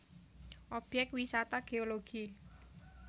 Obyek Wisata Geologi